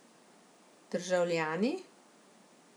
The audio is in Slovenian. Državljani?